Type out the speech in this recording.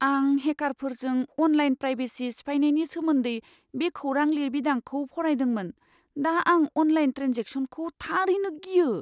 आं हेकारफोरजों online privacy सिफायनायनि सोमोन्दै बे खौरां लिरबिदांखौ फरायदोंमोन, दा आं अनलाइन ट्रेन्जेकसनखौ थारैनो गियो!